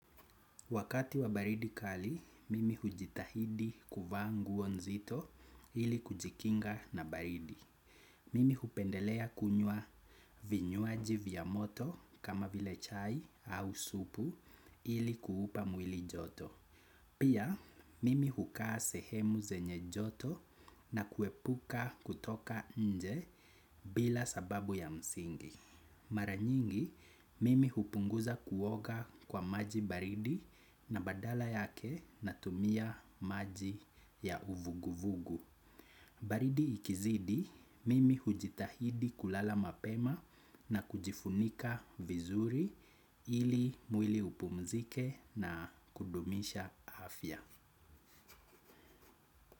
Wakati wa baridi kali, mimi hujitahidi kuvaa nguo nzito ili kujikinga na baridi. Mimi hupendelea kunywa vinywaji vya moto kama vile chai au supu ili kuupa mwili joto. Pia, mimi hukaa sehemu zenye joto na kuepuka kutoka nje bila sababu ya msingi. Mara nyingi, mimi hupunguza kuoga kwa maji baridi na badala yake natumia maji ya uvuguvugu. Baridi ikizidi, mimi hujitahidi kulala mapema na kujifunika vizuri ili mwili upumzike na kudumisha afya.